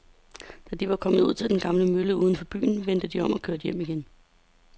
Da de var kommet ud til den gamle mølle uden for byen, vendte de om og kørte hjem igen.